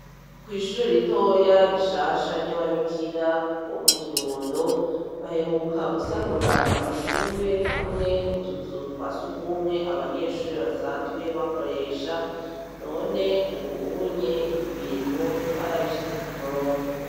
Kw'ishure ritoya rishasha ry'ababikira bo mu kirundo baheruka gusanura amashure hamwe n'utuzu twa sugumwe abanyeshure basanzwe bakoresha none ubuunye ibintu barabishize ku murongo.